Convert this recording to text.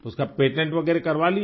उसका पेटेंट वगैरह करवा लिया